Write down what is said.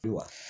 Wa